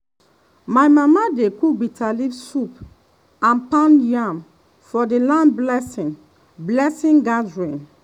my mama dey cook bitterleaf soup and pound yam for the land blessing blessing gathering.